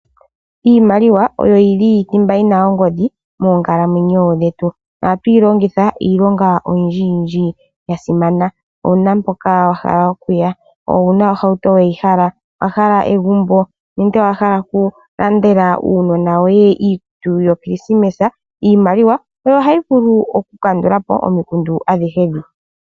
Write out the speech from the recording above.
Iimaliwa oyo yili thimba yina ongodhi moonkalamwenyo dhetu . Ohatuyi longitha iilonga oyindji yasimana. Owuna mpoka wahala okuya? Owuna ohauto weyihala? Nenge owahala egumbo? nenge owahala oku landela uunona woye iikutu yo krismesa? iimaliwa oyo hayi vulu oku kandulapo omikundu adhihe dhika.